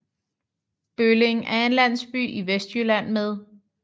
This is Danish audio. Bølling er en landsby i Vestjylland med